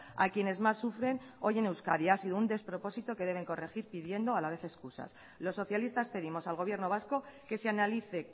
a quienes más sufren hoy en euskadi ha sido un despropósito que deben corregir pidiendo a la vez excusas los socialistas pedimos al gobierno vasco que se analice